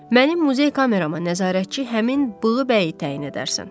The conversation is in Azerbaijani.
Mənim muzey kamerama nəzarətçi həmin bığı bəyi təyin edərsən.